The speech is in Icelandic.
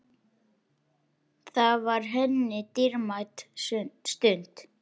Það var henni dýrmæt stund.